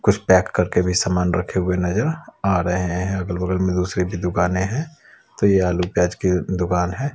कुछ पैक करके भी सामान रखे हुए नजर आ रहे हैं अगल बगल में दूसरी भी दुकानें हैं तो ये आलू प्याज की दुकान है।